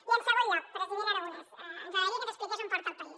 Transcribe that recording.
i en segon lloc president aragonès ens agradaria que ens expliqués on porta el país